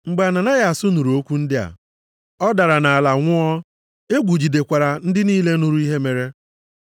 Mgbe Ananayas nụrụ okwu ndị a, ọ dara nʼala nwụọ, egwu jidekwara ndị niile nụrụ ihe mere.